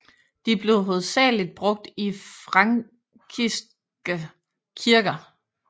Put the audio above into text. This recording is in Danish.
De blev hovedsageligt brugt i frankiske kirker